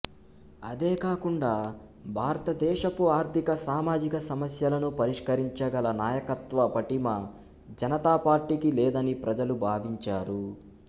అదే కాకుండా భారతదేశపు ఆర్థిక సామాజిక సమస్యలను పరిష్కరించగల నాయకత్వ పటిమ జనతాపార్టీకి లేదని ప్రజలు భావించారు